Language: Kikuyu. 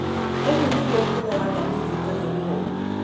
Ũguo nĩguo ũtũũro wa Daniel ũtariĩ wĩra-inĩ.